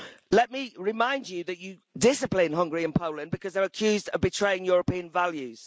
Let me remind you that you discipline Hungary and Poland because they are accused of betraying European values.